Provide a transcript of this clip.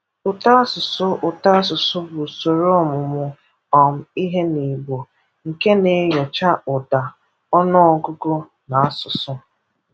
Ụtọasụsụ Ụtọasụsụ bụ ụsoro ọmụmụ um ihe n'igbo, nke na-enyocha ụdá, ọnụ ọgụgụ na asụsụ.